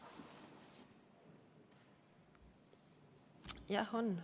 Jah, on.